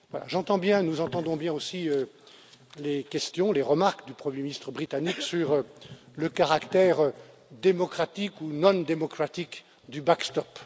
J'entends bien, nous entendons bien aussi les questions, les remarques du premier ministre britannique sur le caractère démocratique ou non démocratique du backstop